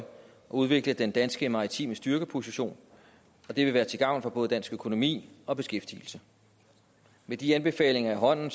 udvikle den danske maritime styrkeposition det vil være til gavn for både dansk økonomi og beskæftigelse med de anbefalinger i hånden